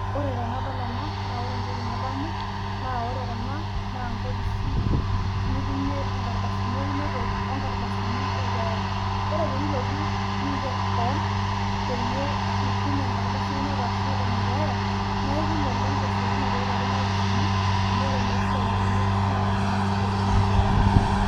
Oree tenadol enaa naa oree enaa naa nkofisii nitumie inkardasini eeinotoo onee keeyaa oree pee ilotuuu nigerr kewon peyiee peyiee iitum enaduoo ardasii peyiee iitum telekekii